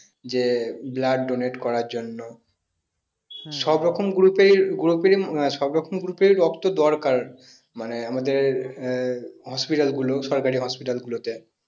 যে blood donate করার জন্য সব রকম group এর group এর সব রকম group এর ই রক্ত দরকার মানে আমাদের আহ hospital গুলো সরকারি hospital গুলোতে